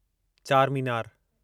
Charminar